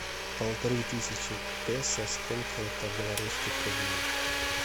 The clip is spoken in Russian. полторы тысячи песо сколько это белорусских рублей